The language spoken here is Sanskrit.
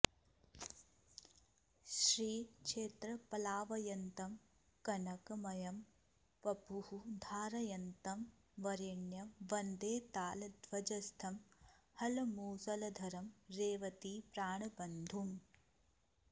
श्रीक्षेत्रप्लावयन्तं कनकमयवपुः धारयन्तं वरेण्यं वन्दे तालध्वजस्थं हलमुसलधरं रेवतीप्राणबन्धुम्